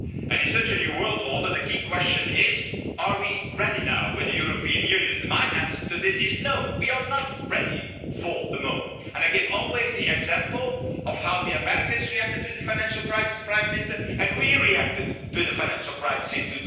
In such a new world order, the key question is are we ready now with the European Union? My answer to this is no! We are not ready for the moment, and I give always the example of how the Americans reacted to the financial crisis, Prime Minister, and how we reacted to the financial crisis in